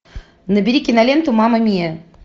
набери киноленту мама миа